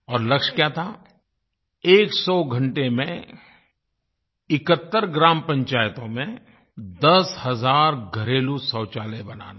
और लक्ष्य क्या था एक सौ घंटे में 71 ग्राम पंचायतों में दस हज़ार घरेलू शौचालय बनाना